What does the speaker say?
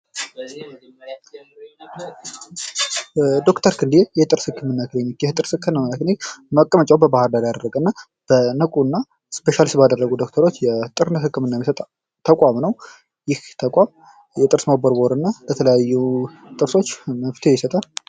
ዶክተር ክንዴ የጥርስ ህክምና ክሊኒክ፤ ይህ የጥርስ ህክምና ክሊኒክ መቀመጫውውን በባህርዳር ያደረገ እና በንቁ እና ስፔሻሊቲ ባደረጉ ዶክተሮች የጠቅላላ ህክምና የሚሰጥ ተቋም ነው። ይህ ተቋም ለጥርስ መቦርቦር እና ለተለያዩ ጥርሶች መፍትሄ ይሰጣል።